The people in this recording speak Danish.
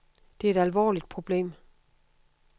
Det er et alvorligt problem.